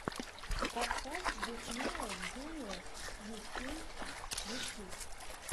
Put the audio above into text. подкаст диснея джуниор ю кей ютюб